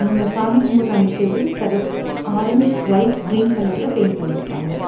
இவங்க சாமி கும்புட்ற அந்த செவுரு செகப் ஆரஞ்சு ஒயிட் கிரீன் கலர்ல பெயின்ட் பண்ணிருக்காங்க.